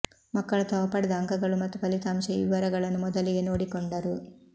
ಮಕ್ಕಳು ತಾವು ಪಡೆದ ಅಂಕಗಳು ಮತ್ತು ಫಲಿತಾಂಶ ಈ ವಿವರಗಳನ್ನು ಮೊದಲಿಗೆ ನೋಡಿಕೊಂಡರು